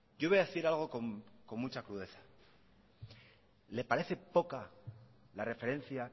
yo voy a decir algo con mucha crudeza le parece poca la referencia